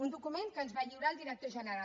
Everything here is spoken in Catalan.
un document que ens va lliurar el director general